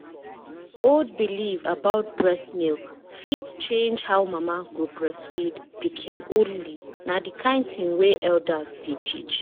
old belief about breast milk fit change how mama go breastfeed pikin only na the kind thing wey elders dey teach.